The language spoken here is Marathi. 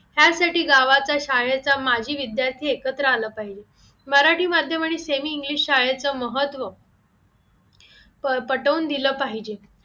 ह्यासाठी गावात शाळेचा माजी विद्यार्थी एकत्र आला पाहिजे मराठी माध्यम आणि semi English शाळेचे महत्व पटवून दिलं पाहिजे